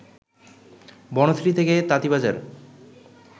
বনশ্রী থেকে তাতীবাজার